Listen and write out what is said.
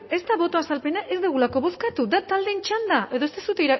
ez da boto azalpena ez dugulako bozkatu da taldeen txanda edo ez duzue